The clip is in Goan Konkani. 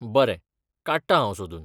बरें, काडटां हांव सोदून.